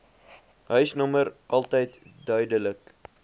huisnommer altyd duidelik